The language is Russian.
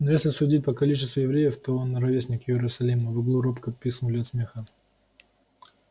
ну если судить по количеству евреев то он ровесник иерусалима в углу робко пискнули от смеха